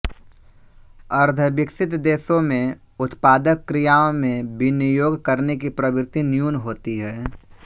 अर्द्धविकसित देशों में उत्पादक क्रियाओं में विनियोग करने की प्रवृति न्यून होती है